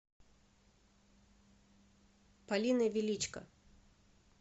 полиной величко